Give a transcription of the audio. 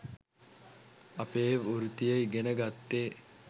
අපේ වෘත්තීය ඉගෙන ගත්තේ